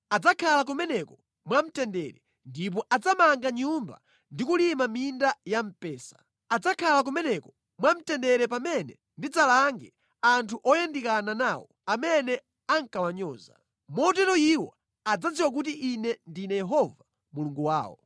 Adzakhala kumeneko mwamtendere ndipo adzamanga nyumba ndi kulima minda ya mpesa. Adzakhala kumeneko mwamtendere pamene ndidzalange anthu oyandikana nawo, amene ankawanyoza. Motero iwo adzadziwa kuti Ine ndine Yehova Mulungu wawo.’ ”